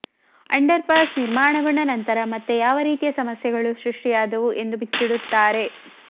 underpass ನಿರ್ಮಾಣಗೊಂಡ ನಂತರ ಮತ್ತೆ ಯಾವ ರೀತಿಯ ಸಮಸ್ಯೆಗಳು ಸೃಷ್ಟಿಯಾದವು ಎಂದು ಬಿಚ್ಚಿಡುತ್ತಾರೆ